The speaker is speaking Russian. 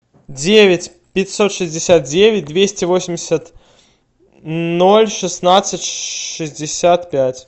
девять пятьсот шестьдесят девять двести восемьдесят ноль шестнадцать шестьдесят пять